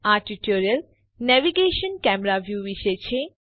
આ tutorial navigation camera view વિશે છે